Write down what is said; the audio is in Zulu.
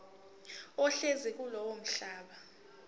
ohlezi kulowo mhlaba